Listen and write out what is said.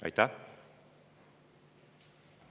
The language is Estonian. Aitäh!